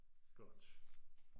Godt